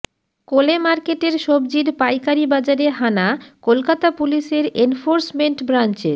কোলে মার্কেটের সবজির পাইকারি বাজারে হানা কলকাতা পুলিশের এনফোর্সমেন্ট ব্রাঞ্চের